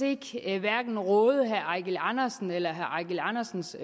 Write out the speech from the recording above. hverken råde herre eigil andersen eller herre eigil andersens